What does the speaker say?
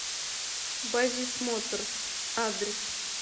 базис моторс адрес